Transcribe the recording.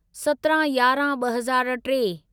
सतिरहाँ यारहं ॿ हज़ार टे